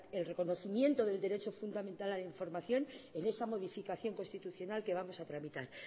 el reconocimiento del derecho fundamental a la información en esa modificación constitucional que vamos a tramitar